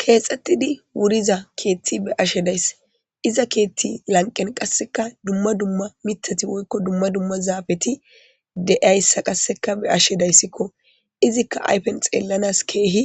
Keeexetidi wuriza keeththa be7ashe days iza keeththi lanqen qasseka dumma dumma miththati woyko dumma dumma zaafeti de7iyayssa qasseka be7ashe daysiko izika ayfes xeelanas keehi